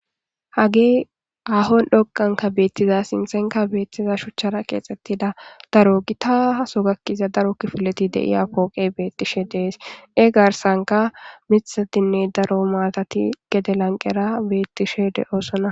Haagee haaho dhoqqan beeththida a sinththenkka beeththida shuchchaara keexeththida daro githaazo gakkidi daro kifilethi de7iya pooqee beeththishee de7ees; e garssankka miththeththinne daro maathathi gede lanqqeera beeththishee de7oosona.